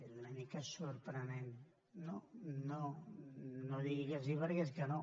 és una mica sorprenent no no no digui que sí perquè és que no